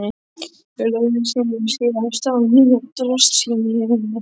Við lögðum sem sé af stað á nýju drossíunni.